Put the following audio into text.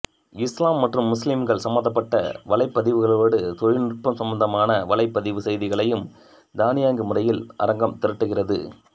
இஸ்லாம் மற்றும் முஸ்லிம்கள் சம்பந்தப்பட்ட வலைப்பதிவுகளோடு தொழில்நுட்பம் சம்பந்தமான வலைப்பதிவு செய்திகளையும் தானியங்கி முறையில் அரங்கம் திரட்டுகிறது